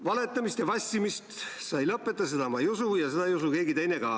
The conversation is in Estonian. Valetamist ja vassimist sa ei lõpeta, seda ma ei usu ja seda ei usu keegi teine ka.